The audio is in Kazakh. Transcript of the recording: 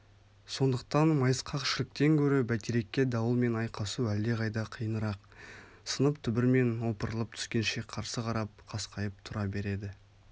сондықтан майысқақ шіліктен гөрі бәйтерекке дауылмен айқасу әлдеқайда қиынырақ сынып түбірмен опырылып түскенше қарсы қарап қасқайып тұра береді